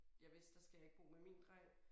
Jeg vidste der skal jeg ikke bo med min dreng